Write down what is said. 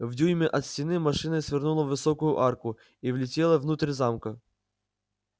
в дюйме от стены машина свернула в высокую арку и влетела внутрь замка